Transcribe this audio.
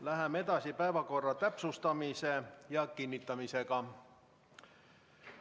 Läheme edasi päevakorra täpsustamise ja kinnitamisega.